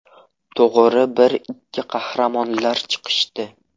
To‘g‘ri, bir-ikki qahramonlar chiqishdi.